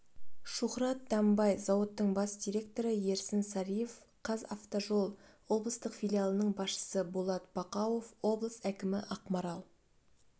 шухрат данбай зауыттың бас директоры ерсін сариев қазавтожол облыстық филиалының басшысы болат бақауов облыс әкімі ақмарал